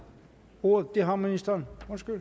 ordet det har ministeren